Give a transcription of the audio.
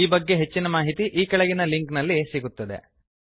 ಈ ಬಗ್ಗೆ ಹೆಚ್ಚಿನ ಮಾಹಿತಿ ಈ ಕೆಳಗಿನ ಲಿಂಕ್ ನಲ್ಲಿ ಸಿಗುತ್ತದೆ